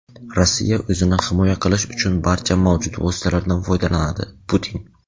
Rossiya o‘zini himoya qilish uchun barcha mavjud vositalardan foydalanadi – Putin.